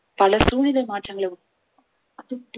பல சூழ்நிலை மாற்றங்களை